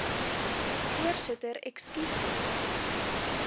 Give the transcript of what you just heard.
voorsitter ekskuus tog